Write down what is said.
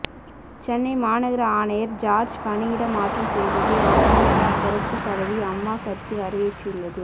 சென்னை மாநகர ஆணையர் ஜார்ஜ் பணியிட மாற்றம் செய்ததை அதிமுக புரட்சி தலைவி அம்மா கட்சி வரவேற்றுள்ளது